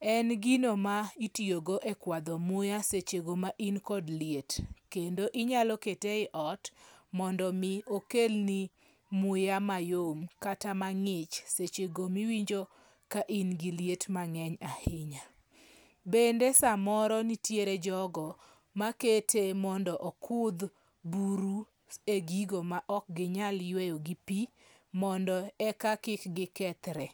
En gino ma itiyogo e kwadho muya seche go ma in kod liet. Kendo inyalo kete e ot mondo mi okelni muya mayom kata mang'ich seche go miwinjo ka in gi liet mang'eny ahinya. Bende samoro nitiere jogo ma kete mondo okudh buru e gigo ma ok gi nyal yweyo gi pi mondo e ka kik gi kethre.